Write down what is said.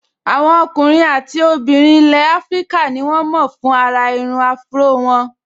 Àwọn ọkùnrin àti obìnrin ilẹ̀ áfríkà ní wọ́n mọ̀ fún àrà irun áfúró wọn